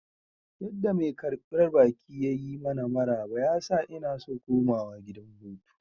Yadda mai karbar baki ya yi mana maraba ya sa inna so komawa gidan hutu.